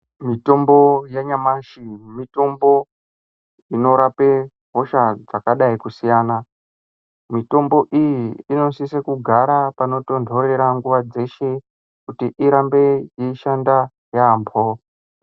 Mitombo yanyamashi mitombo inorape hosha dzakadai kusiyana mitombo iyi inosisa kugara panotontorera nguva dzeshe kuti irambe yeishanda yambho.